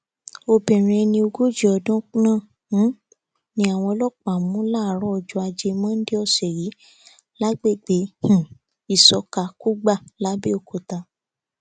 obìnrin ẹni ogójì ọdún náà um ni àwọn ọlọpàá mú láàárọ ọjọ ajé monde ọsẹ yìí lágbègbè um ìsọka kùgbà làbẹọkúta